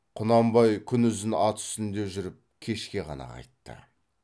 құнанбай күнұзын ат үстінде жүріп кешке ғана қайтты